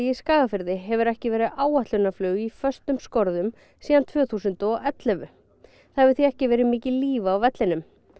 Skagafirði hefur ekki verið áætlunarflug í föstum skorðum síðan tvö þúsund og ellefu það hefur því ekki verið mikið líf á vellinum